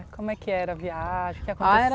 É, como é que era a viagem, o que acontecia. A era